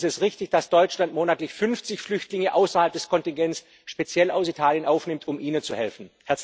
Und ist es richtig, dass Deutschland monatlich 50 Flüchtlinge außerhalb des Kontingents speziell aus Italien aufnimmt, um Ihnen zu helfen?